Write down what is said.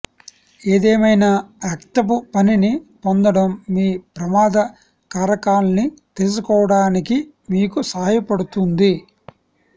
ఏదేమైనా రక్తపు పనిని పొందడం మీ ప్రమాద కారకాల్ని తెలుసుకోవడానికి మీకు సహాయపడుతుంది